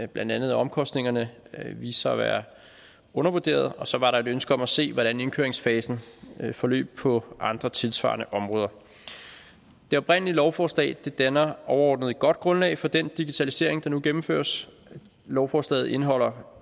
blandt andet at omkostningerne viste sig at være undervurderede og så var der et ønske om at se hvordan indkøringsfasen forløb på andre tilsvarende områder det oprindelige lovforslag danner overordnet et godt grundlag for den digitalisering der nu gennemføres lovforslaget indeholder